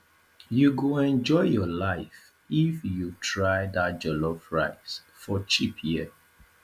you go enjoy your life if you try dat jollof rice for cheap here